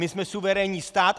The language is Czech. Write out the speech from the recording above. My jsme suverénní stát.